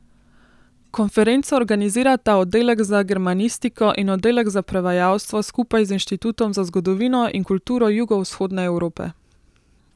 Konferenco organizirata oddelek za germanistiko in oddelek za prevajalstvo skupaj z Inštitutom za zgodovino in kulturo Jugovzhodne Evrope.